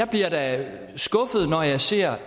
bliver da skuffet når jeg ser